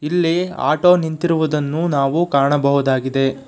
ಇಲ್ಲಿ ಆಟೋ ನಿಂತಿರುವುದನ್ನು ನಾವು ಕಾಣಬಹುದಾಗಿದೆ.